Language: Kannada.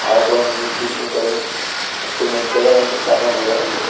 ಹಾಗು ಒಂದೋಂದು ದಿಂಬುಗಳು ಮತ್ತು ಮಂಚಗಳನ್ನು ಕಾಣಬಹುದಾಗಿದೆ.